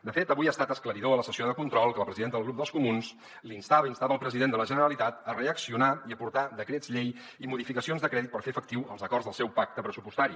de fet avui ha estat esclaridor a la sessió de control que la presidenta del grup dels comuns instava el president de la generalitat a reaccionar i aportar decrets llei i modificacions de crèdit per fer efectius els acords del seu pacte pressupostari